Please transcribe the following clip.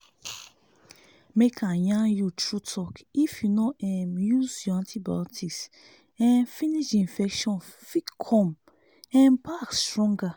make i yarn you true talk if you no um use your antibotics um finish the infection fit come um back stronger